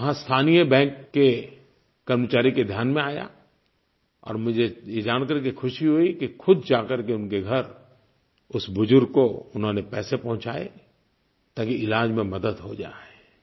वहाँ स्थानीय बैंक के कर्मचारी के ध्यान में आया और मुझे ये जान करके खुशी हुई कि ख़ुद जाकर के उनके घर उस बुज़ुर्ग को उन्होंने पैसे पहुँचाए ताकि इलाज़ में मदद हो जाए